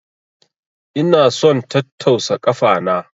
Ina son tattausa kafa na.